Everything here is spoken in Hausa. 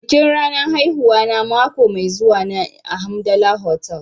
Bikin ranar haihuwana mako mai zuwa ne a Hamdala Hotel.